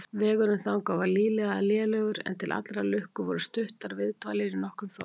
Vegurinn þangað var lygilega lélegur, en til allrar lukku voru stuttar viðdvalir í nokkrum þorpum.